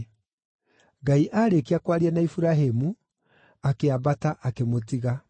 Ngai aarĩkia kwaria na Iburahĩmu, akĩambata, akĩmũtiga.